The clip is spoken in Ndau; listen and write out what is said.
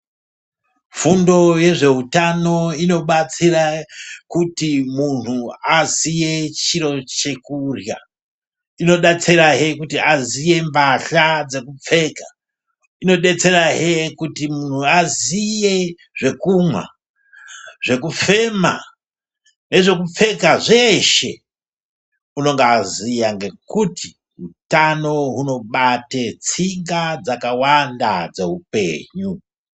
Fundo yezveutano inobatsire kuti muntu aziye chiro chekurya , inodetserahe kuti aziye mbahla dzekupfeka ,inodetserahe kuti muntu aziye zvekumwa ,zvekufema ,nezvekupfeka zveshe unonga ozuya nekuti utano unobata tsinga dzakawanda dzeupenyu.